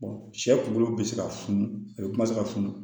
sɛ kulu bɛ se ka funu kuma tɛ se ka funu